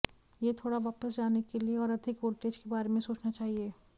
यह थोड़ा वापस जाने के लिए और अधिक वोल्टेज के बारे में सोचना चाहिए